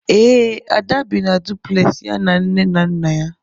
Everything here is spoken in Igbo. Ee, Ada bi na duplexi ya na nne na nna ya.